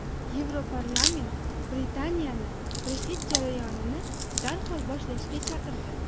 Yevroparlament Britaniyani Brexit jarayonini darhol boshlashga chaqirdi.